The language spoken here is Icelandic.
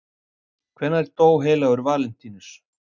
Hvenær dó heilagur Valentínus?